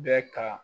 Bɛ ka